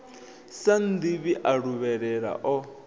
sa nnḓivhi a luvhelela o